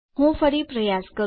હું ફરી પ્રયાસ કરું